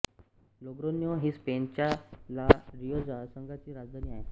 Logrono ही स्पेनच्या La Rioja संघाची राजधानी आहे